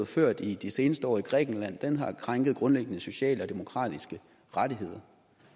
ført i de seneste år i grækenland har krænket grundlæggende sociale og demokratiske rettigheder